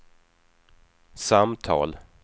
samtal